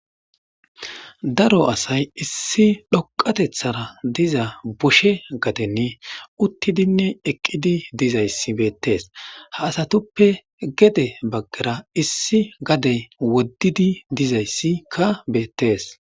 daro asay issi dhoqatethara diza boshe gadenni uttidinne eqqidi dizayssi beettes ha asatuppe gede baggera issi gadey woddidi dizayssikka beettees